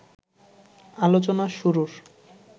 আলোচনা শুরুর